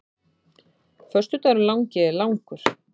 Föstudagurinn langi er langur.